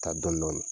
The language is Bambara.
Taa dɔn dɔni